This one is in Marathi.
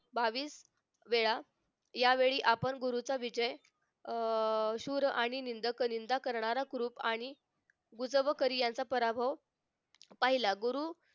बावीस वेळा यावेळी आपण गुरूचा विजय शूर आणि निंदक निंदा करणारा कुरूप आणि बुजक करी यांचा पराभव पाहिला गुरु